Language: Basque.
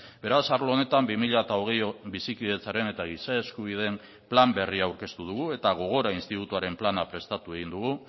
beraz arlo honetan bi mila hogei bizikidetzaren eta giza eskubideen plan berria aurkeztu dugu eta gogora institutuaren plana prestatu egin dugu